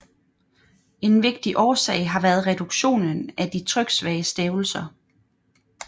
En vigtig årsag har været reduktionen af de tryksvage stavelser